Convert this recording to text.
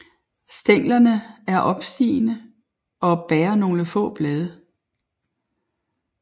Stænglerne er opstigende og bærer nogle få blade